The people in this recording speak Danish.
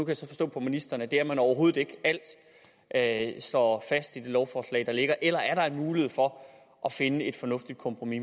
jeg så forstå på ministeren at det er man overhovedet ikke at står fast i det lovforslag der ligger eller er der en mulighed for at finde et fornuftigt kompromis